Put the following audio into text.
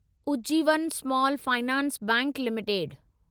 Ujjivan small finance bank limited